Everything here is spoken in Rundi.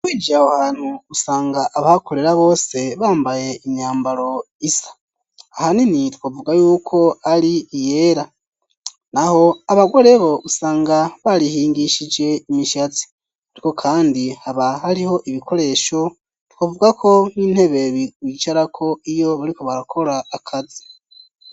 Winjiye aho hantu usanga abahakorera bose bambaye imyambaro isa, ahanini twovuga yuko ari iyera naho abagore bo usanga barihingishije imishatsi ariko kandi haba hariho ibikoresho twovuga ko nk'intebe bicarako iyo bariko barakora akazi.